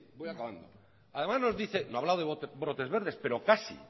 voy acabando además nos dice no ha hablado de brotes verdes pero casi